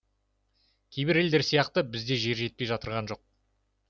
кейбір елдер сияқты бізге жер жетпей жатырған жоқ